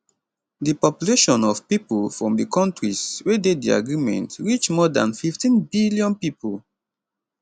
di population of pipo from di kontris wey dey di agreement reach more dan 15 billion pipo